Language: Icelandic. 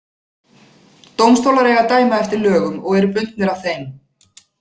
Dómstólar eiga að dæma eftir lögum og eru bundnir af þeim.